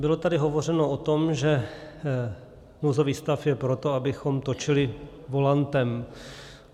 Bylo tady hovořeno o tom, že nouzový stav je proto, abychom točili volantem.